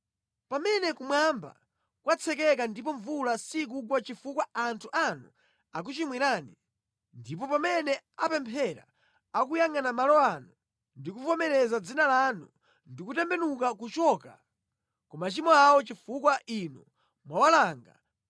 “Pamene kumwamba kwatsekeka ndipo mvula sikugwa chifukwa anthu anu akuchimwirani, ndipo pamene apemphera akuyangʼana malo ano ndi kuvomereza Dzina lanu ndi kutembenuka kuchoka ku machimo awo chifukwa inu mwawalanga,